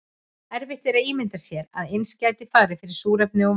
erfitt er að ímynda sér að eins gæti farið fyrir súrefni og vatni